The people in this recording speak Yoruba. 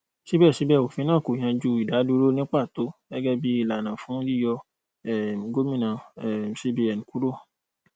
síbẹsíbẹ òfin náà kò yanjú ìdádúró ní pàtó gẹgẹ bí ìlànà fún yíyọ um gómìnà um cbn kúrò